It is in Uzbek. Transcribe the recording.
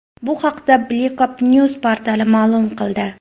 bu haqda Blikopnieuws portali ma’lum qildi .